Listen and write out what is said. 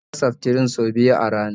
Ta sha seftrin sau biyu a rana